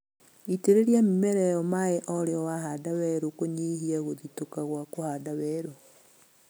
Itĩrĩria mĩmera ĩyo maĩĩ o rĩo wahanda werũ kũnyihia gũthitũka gwa kũhanda werũ